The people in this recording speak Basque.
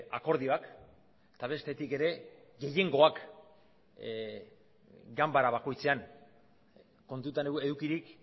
akordioak eta bestetik ere gehiengoak ganbara bakoitzean kontutan edukirik